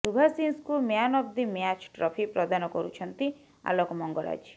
ସୁଭାଶିଷଙ୍କୁ man of the match trophy ପ୍ରଦାନ କରୁଛନ୍ତି ଆଲୋକ ମଙ୍ଗରାଜ